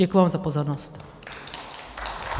Děkuji vám za pozornost.